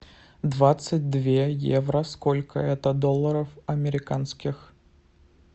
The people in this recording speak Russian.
двадцать две евро сколько это долларов американских